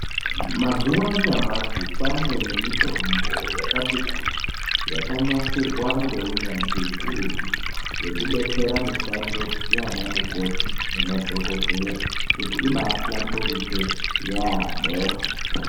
Mazuva anyamashi kwane mitombo yakati kuti yakanasirwa ngeunyanzvi ukurutu yekudetsera mishando yana mukoti nemadhokodheya kuti ibahlamburike yaamho.